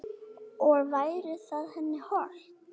Og væri það henni hollt?